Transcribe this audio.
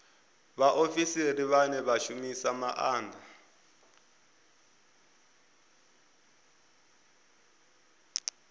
vhaofisiri vhane vha shumisa maanda